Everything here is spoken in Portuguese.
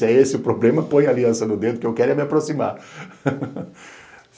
Se é esse o problema, põe aliança no dedo, que eu quero é me aproximar.